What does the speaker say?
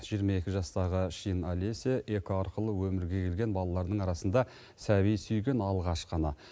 жиырма екі жастағы шин алеся эко арқылы өмірге келген балалардың арасында сәби сүйген алғашқы ана